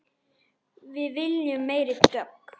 Við viljum meiri dögg!